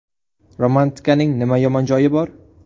Romantikaning nima yomon joyi bor?